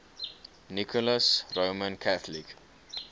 nicholas roman catholic